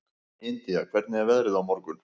Indía, hvernig er veðrið á morgun?